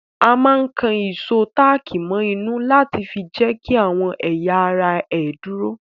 A máa ń kan ìsò táàkì mọ inú láti fi jẹ́kí àwọn ẹ̀yà ara ẹ dúró